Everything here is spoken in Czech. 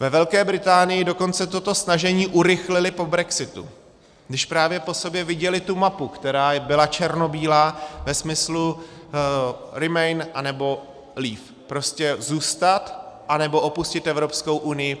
Ve Velké Británii dokonce toto snažení urychlili po brexitu, když právě po sobě viděli tu mapu, která byla černobílá ve smyslu remain, anebo leave, prostě zůstat, anebo opustit Evropskou unii.